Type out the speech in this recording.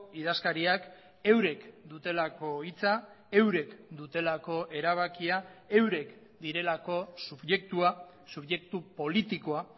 idazkariak eurek dutelako hitza eurek dutelako erabakia eurek direlako subjektua subjektu politikoa